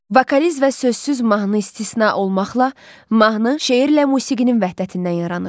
Vokaliz və sözsüz mahnı istisna olmaqla mahnı şeirlə musiqinin vəhdətindən yaranır.